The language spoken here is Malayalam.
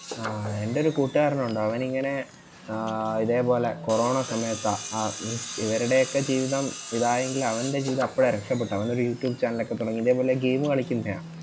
ആ എന്റെ ഒരു കൂട്ടുകാരൻ ഒണ്ട് അവൻ ഇങ്ങനെ ആഹ് ഇതേപോലെ corona സമയത്താ ആഹ് means ഇവരടെ ഒക്കെ ജീവിതം ഇതായെങ്കിൽ അവന്റെ ജീവിതം അപ്പഴാ രക്ഷപ്പെട്ടെ. അവൻ ഒരു youtube channel ഒക്കെ തൊടങ്ങി ഇതേ പോലെ game കളിക്കുന്നെയാ